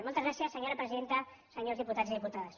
moltes gràcies senyora presidenta senyors diputats i diputades